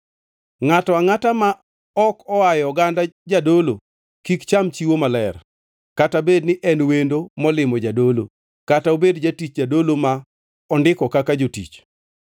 “ ‘Ngʼato angʼata ma ok oaye oganda jadolo kik cham chiwo maler, kata bedni en wendo molimo jadolo, kata obed jatich jadolo ma ondiko kaka jotich.